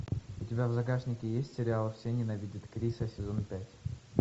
у тебя в загашнике есть сериал все ненавидят криса сезон пять